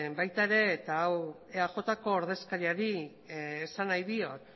baita ere eta hau eajko ordezkariari esan nahi diot